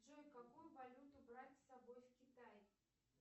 джой какую валюту брать с собой в китай